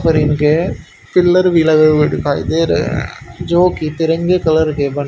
फरिगे pillar भी लगे हुए दिखाई दे रहे हैं जो कि तिरंगे कलर के बने--